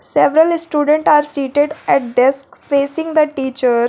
Severally student are seated at desk facing the teachers.